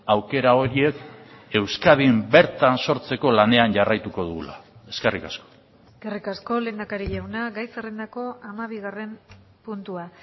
aukera horiek euskadin bertan sortzeko lanean jarraituko dugula eskerrik asko eskerrik asko lehendakari jauna gai zerrendako hamabigarren puntua